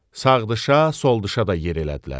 Sağdışa, soldışa da yer elədilər.